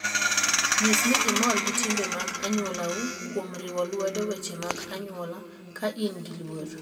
Nyis ni imor gi timbe mag anyuolau kuom riwo lwedo weche mag anyuola ka in gi luor.